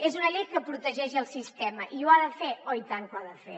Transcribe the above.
és una llei que protegeix el sistema i ho ha de fer oh i tant que ho ha de fer